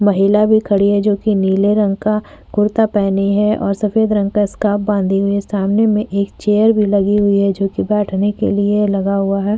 महिला भी खड़ी है जोकि नीले रंग कुर्ता पहने है और सफेद रंग का स्कार्फ बांधे हुई है। सामने मे एक चेयर भी लगी हुई है जो कि बैठने के लिए लगा हुआ है।